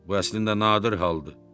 Bu əslində nadir haldır.